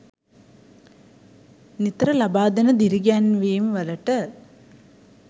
නිතර ලබා දෙන දිරිගැන්වීම් වලට.